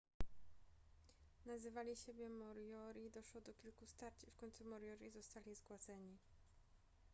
nazywali siebie moriori doszło do kilku starć i w końcu moriori zostali zgładzeni